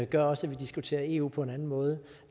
gør også at vi diskuterer eu på en anden måde